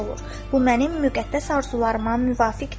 Bu mənim müqəddəs arzularıma müvafiqdir."